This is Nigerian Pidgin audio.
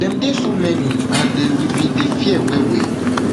dem dey so many and um we bin dey fear wellwll